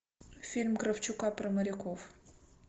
фильм кравчука про моряков